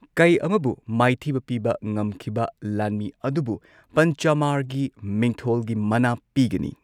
ꯀꯩ ꯑꯃꯕꯨ ꯃꯥꯏꯊꯤꯕ ꯄꯤꯕ ꯉꯝꯈꯤꯕ ꯂꯥꯟꯃꯤ ꯑꯗꯨꯕꯨ ꯄꯟꯆꯃꯥꯔꯒꯤ ꯃꯤꯡꯊꯣꯜꯒꯤ ꯃꯅꯥ ꯄꯤꯒꯅꯤ꯫